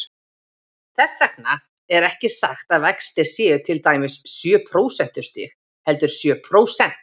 Þess vegna er ekki sagt að vextir séu til dæmis sjö prósentustig, heldur sjö prósent.